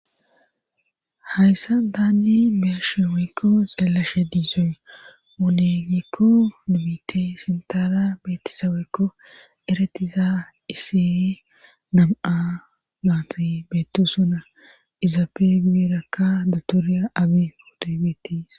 Hayssa taanni besheweykko xeellashe diisooe munenikko dumite sintara beettisaweykko eretiza isiyi nam7a maanti beetu suna izape giberakka dotooriya abi udebeetiis